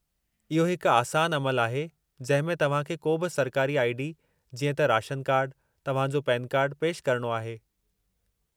इहो हिकु आसानु अमलु आहे जंहिं में तव्हां खे को बि सरकारी आई.डी. जीअं त राशनु कार्डु, तव्हां जो पेनु कार्डु पेशि करणो आहे।